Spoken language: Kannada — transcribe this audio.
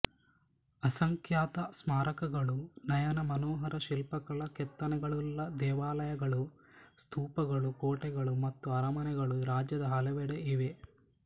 ಅಸಂಖ್ಯಾತ ಸ್ಮಾರಕಗಳು ನಯನ ಮನೋಹರ ಶಿಲ್ಪಕಲಾ ಕೆತ್ತನೆಗಳುಳ್ಳ ದೇವಾಲಯಗಳು ಸ್ತೂಪಗಳು ಕೋಟೆಗಳು ಮತ್ತು ಅರಮನೆಗಳು ರಾಜ್ಯದ ಹಲವೆಡೆ ಇವೆ